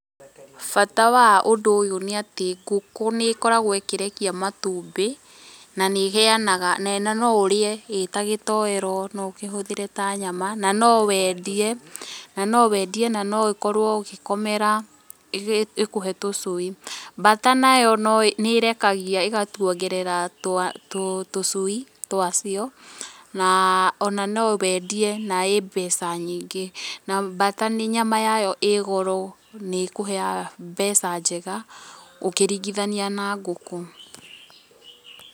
Bata wa ũndũ ũyũ nĩ atĩ ngũkũ nĩkoragwo ĩkĩrekĩa matũmbĩ na nĩheanaga noũrĩe ĩta gĩtoero no ũkĩhũthĩre ta nyama, na nowendĩe na nowendie na noũkorwo ũgĩkomera ĩkũhe tũcũĩ. Bata nayo no nĩrekagĩa ĩgakũogerera tũcui twacĩo na ona nowendie na ĩ mbeca nyĩngĩ na bata nyama yayo ĩ goro nĩkũheaga mbeca njega ukĩrĩgĩthanĩa na ngũkũ.